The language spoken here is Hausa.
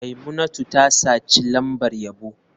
Maimunatu ta saci lambar yabo.